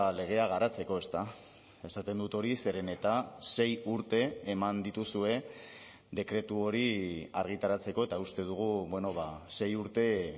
legea garatzeko esaten dut hori zeren eta sei urte eman dituzue dekretu hori argitaratzeko eta uste dugu sei urte